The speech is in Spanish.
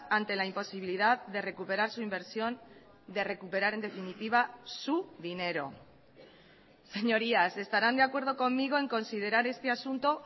ante la imposibilidad de recuperar su inversión de recuperar en definitiva su dinero señorías estarán de acuerdo conmigo en considerar este asunto